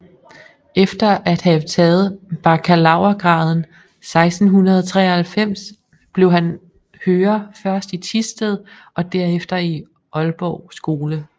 Efter at have taget bakkalaurgraden 1693 blev han hører først i Thisted og derefter i Aalborg Skole